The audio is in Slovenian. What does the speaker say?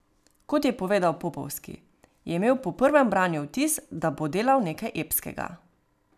Kot je povedal Popovski, je imel po prvem branju vtis, da bo delal nekaj epskega.